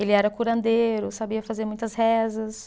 Ele era curandeiro, sabia fazer muitas rezas.